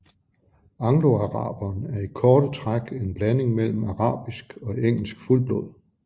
Angloaraberen er i korte træk en blanding mellem arabisk og engelsk fuldblod